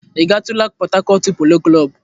Ị gatụla Pọt Hakọt Polo Klọb?